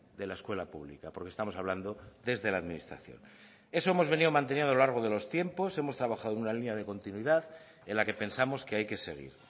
de la escuela pública porque estamos hablando desde la administración eso hemos venido manteniendo a lo largo de los tiempos hemos trabajado en una línea de continuidad en la que pensamos que hay que seguir